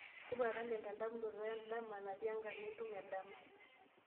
tipika kelande endamunoto edama natii enkarna entumo e dama